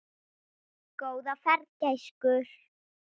Góða ferð, gæskur.